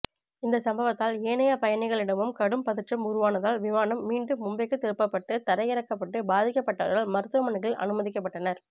இந்தச்சம்பவத்தால் ஏனைய பயணிகளிடமும் கடும் பதற்றம் உருவானதால் விமானம் மீண்டும் மும்பைக்கு திருப்பப்பட்டு தரையிறக்கப்பட்டு பாதிக்கபட்டவர்கள் மருத்துவமனைகளில் அனுமதிக்கப்பட்டனர்